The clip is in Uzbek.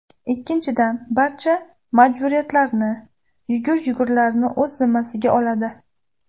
Ikkinchidan, barcha majburiyatlarni, yugur-yugurlarni o‘z zimmasiga oladi.